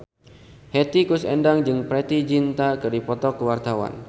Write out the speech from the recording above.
Hetty Koes Endang jeung Preity Zinta keur dipoto ku wartawan